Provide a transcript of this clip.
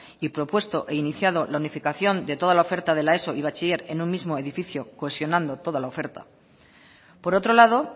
y propuesto e iniciado la unificación de toda la oferta de la eso y bachiller en un mismo edificio cohesionando toda la oferta por otro lado